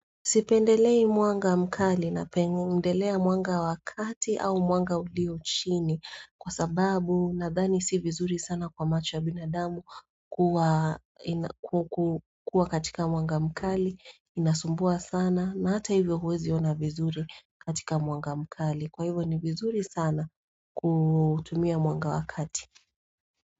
Sipendelei mwanga mkali napendelea mwanga wa kati au mwanga ulio chini kwa sababu nadhani si vizuri sana kwa macho ya binadamu kuwa katika mwanga mkali, inasumbua sana na hata hivyo huwezi ona vizuri katika mwanga mkali. Kwa hivyo ni vizuri sana kutumia mwanga wa kati.